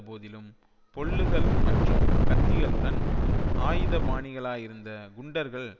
போதிலும் பொல்லுகள் மற்றும் கத்திகளுடன் ஆயுதபாணிகளாகியிருந்த குண்டர்கள்